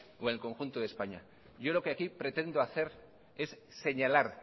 o en el conjunto de españa yo lo que aquí pretendo hacer es señalar